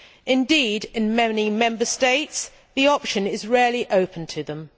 Indeed, in many Member States, the option is rarely open to them.